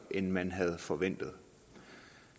end man havde forventet